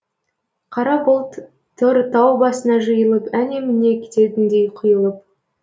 қара бұлт тұр таубасына жиылып әне міне кететіндей құйылып